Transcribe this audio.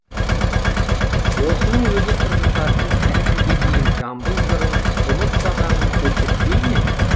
осының өзі тұрғындардың әлі күнге дейін жамбыл жырын ұмытпағанын көрсетпей ме